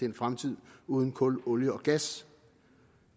en fremtid uden kul olie og gas